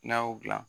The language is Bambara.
N'a y'o dilan